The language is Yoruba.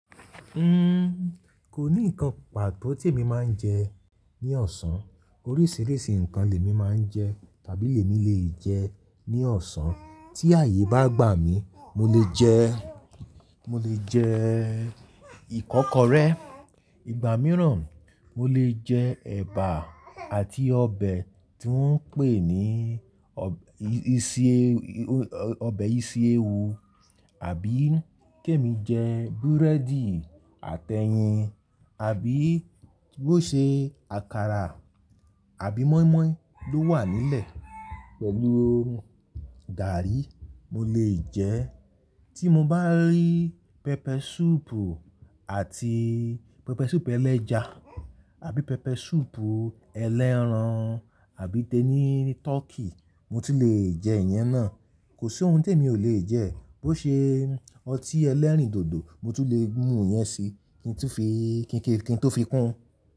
Uhm, kò ní nǹkan pàtó tí èmi máa ń jẹ ní ọ̀sán. Oríṣìíríṣìí nǹkan lè mi máa ń jẹ tàbí lè mi lè jẹ ní ọ̀sán. Tí ààyè bá gbà mí, mo lè jẹ, mo lè jẹ ìkọ́kọrẹ́. Ìgbà mìíràn mo lè jẹ ẹ̀bà àti ọbẹ̀ tí wọ́n ń pè ní ọ̀, ìṣe, ọbẹ̀ ìṣe ewu àbí kí èmi jẹ búrẹ́dì àtẹyin àbí bó ṣe àkàrà àbí moi moi ló wà nílẹ̀ pẹ̀lú gààrí mo lè jẹ. Tí mo bá rí pepper soup àti pepper soup ẹlẹ́ja àbí pepper soup ẹlẹ́ran àbí tẹ ni turkey, mo tún lé jẹ ìyẹn náà. Kò sí ohun tí èmi ò le jẹ. Bo ṣe ọtí ẹlẹ́rìndòdò mo ti le mú yẹn si kin tó fi, kin tó fi kún.